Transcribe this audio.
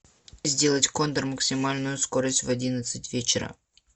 сделать кондер максимальную скорость в одиннадцать вечера